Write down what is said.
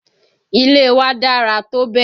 Ilé wa dára tó bẹ̀.